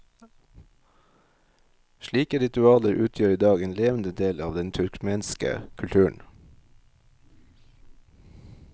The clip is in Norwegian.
Slike ritualer utgjør i dag en levende del av den turkmenske kulturen.